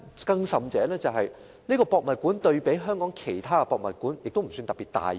更甚的是，故宮館對比香港其他博物館不算特別大型。